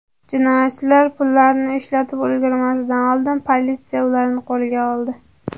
Jinoyatchilar pullarni ishlatib ulgurmasidan oldin politsiya ularni qo‘lga oldi.